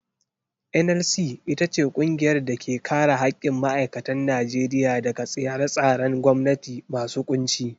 NLC ita ce ƙungiyar da ke kare haƙƙin ma'aikatan Najeriya daga tsare-tsaren gwamnati masu ƙunci.